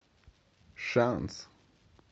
шанс